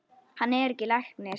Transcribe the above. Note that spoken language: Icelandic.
Hann er læknir.